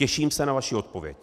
Těším se na vaši odpověď.